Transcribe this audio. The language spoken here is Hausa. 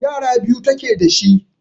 yara biyu take dashi